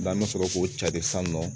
N'an bɛ sɔrɔ k'o cari san nɔ